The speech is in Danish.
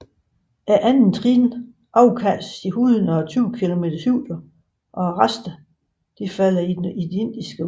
Andettrinnet afkastes i 120 km højde og resterne falder i det Indiske Ocean